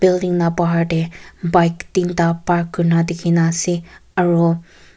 building la bahar de bike tinta park kuri na dikhi na ase aro--